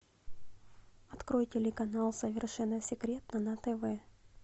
открой телеканал совершенно секретно на тв